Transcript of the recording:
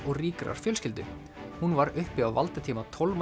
og ríkrar fjölskyldu hún var uppi á valdatíma